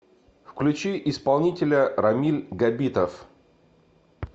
включи исполнителя рамиль габитов